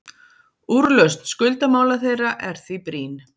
Úrlausn skuldamála þeirra er því brýn.